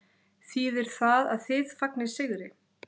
Þýðir það að þið fagnið sigri?